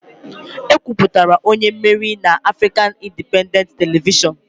E kwupụtara onye meriri na Afrịkan Indipendentị Televishọnụ